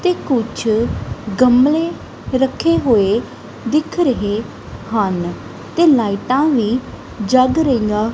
ਤੇ ਕੁਝ ਗਮਲੇ ਰੱਖੇ ਹੋਏ ਦਿਖ ਰਹੇ ਹਨ ਤੇ ਲਾਈਟਾਂ ਵੀ ਜਗ ਰਹੀਆਂ--